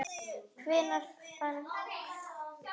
Hvenær fannst Úranus?